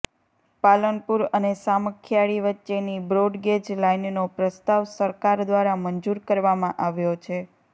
પાલનપુર અને સામખીયાળી વચ્ચેની બ્રોડગેજ લાઇનનો પ્રસ્તાવ સરકાર દ્વારા મંજૂર કરવામાં આવ્યો છે